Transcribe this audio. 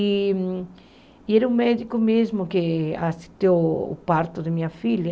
E era um médico mesmo que assistiu o parto da minha filha.